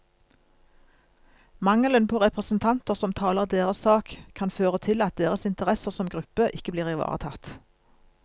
Mangelen på representanter som taler deres sak, kan føre til at deres interesser som gruppe ikke blir ivaretatt.